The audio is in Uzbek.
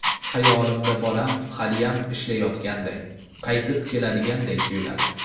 Xayolimda bolam haliyam ishlayotganday, qaytib keladiganday tuyuladi.